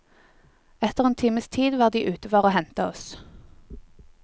Etter en times tid var de ute for og hente oss.